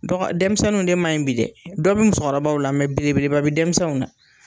Dɔgɔ denmisɛnninw de ma ɲi bi dɛ, dɔ bɛ musokɔrɔbaw la mɛ belebeleba bɛ denmisɛnw na.